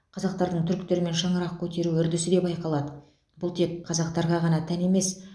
қазақтардың түріктермен шаңырақ көтеру үрдісі де байқалады бұл тек қазақтарға ғана тән емес